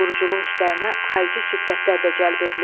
Quruculuq işlərinə xarici şirkətlər də cəlb edilib.